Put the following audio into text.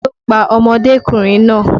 Ta ló pa ọmọdékùnrin náà?